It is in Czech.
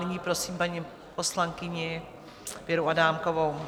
Nyní prosím paní poslankyni Věru Adámkovou.